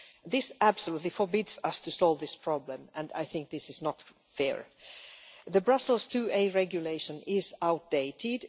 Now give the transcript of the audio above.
This absolutely forbids us to solve this problem, and I think that is not fair. The Brussels IIa Regulation is outdated.